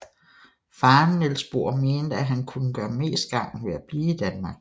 Faren Niels Bohr mente at han kunne gøre mest gavn ved at blive i Danmark